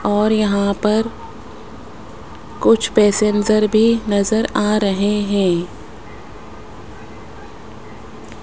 और यहां पर कुछ पैसेंजर भी नजर आ रहे हैं।